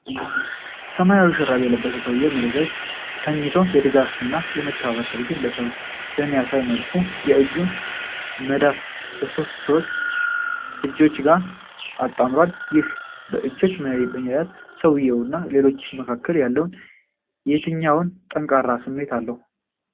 ሰማያዊ ሹራብ የለበሰ ሰውዬ መሬት ላይ ተኝቶ የድጋፍ እና የመተባበር ድርጊት በሚያሳይ መልኩ የእጁን መዳፍ ከሶስት ሌሎች ሰዎች እጆች ጋር አጣምሯል። ይሄ በእጆች መያያዝ በሰውዬው እና በሌሎቹ መካከል ያለውን የትኛውን ጠንካራ ስሜት አለው?